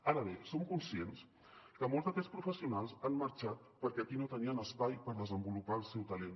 ara bé som conscients que molts d’aquests professionals han marxat perquè aquí no tenien espai per desenvolupar el seu talent